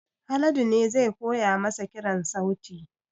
Haladu ne zai koya masa kiran sauti